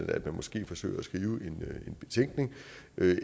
at man måske forsøger at skrive en betænkning